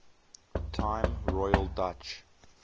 time royal dutch